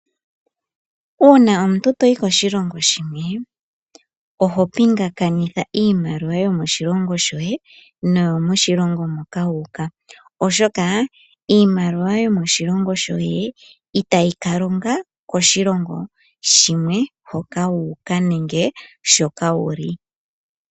Uuna omuntu to yi koshilongo shilwe, oho pingakanitha iimaliwa yomoshilongo shoye, no yo moshilongo moka wa uka. Oshoka iimaliwa yo moshilongo shoye itayi ka longa koshilongo shimwe hoka wa uka nenge shoka wu li.